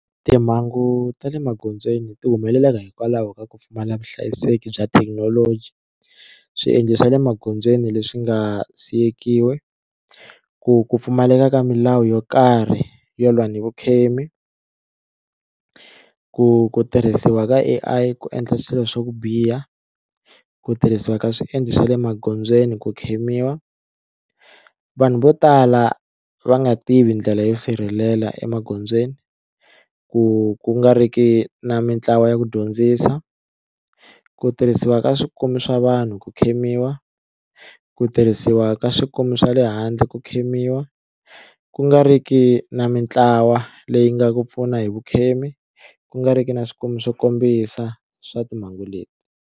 Timhangu ta le magondzweni ti humelelaka hikwalaho ka ku pfumala vuhlayiseki bya thekinoloji swiendlo swa le magondzweni leswi nga siyekiwe ku ku pfumaleka ka milawu yo karhi yo lwa ni vukhemi ku ku tirhisiwa ka A_I ku endla swilo swa ku biha ku tirhisiwa ka swiendlo swa le magondzweni ku khemiwa, vanhu vo tala va nga tivi ndlela yo sirhelela emagondzweni ku ku nga ri ki na mitlawa ya ku dyondzisa ku tirhisiwa ka swikomi swa vanhu ku khemiwa ku tirhisiwa ka swikomi swa le handle ku khemiwa ku nga ri ki na mitlawa leyi nga ku pfuna hi vukhemi ku nga ri ki na swikomi swo kombisa swa timhangu leti.